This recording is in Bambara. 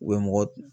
U bɛ mɔgɔ